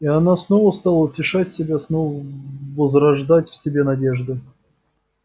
и она снова стала утешать себя снова возрождать в себе надежды